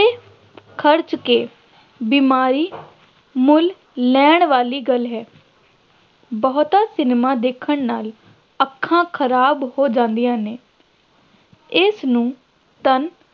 ਖਰਚ ਕੇ ਬਿਮਾਰੀ ਮੁੱਲ ਲੈਣ ਵਾਲੀ ਗੱਲ ਹੈ ਬਹੁਤਾ ਸਿਨੇਮਾ ਦੇਖਣ ਨਾਲ ਅੱਖਾਂ ਖਰਾਬ ਹੋ ਜਾਂਦੀਆਂ ਨੇ ਇਸਨੂੰ ਧੰਨ